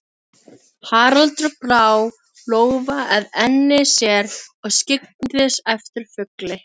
Haraldur brá lófa að enni sér og skyggndist eftir fugli.